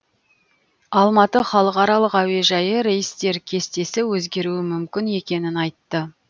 алматы халықаралық әуежайы рейстер кестесі өзгеруі мүмкін екенін айтты